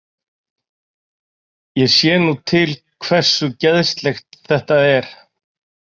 Ég sé nú til hversu geðslegt þetta er.